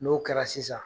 N'o kɛra sisan